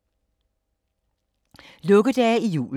Lukkedage i julen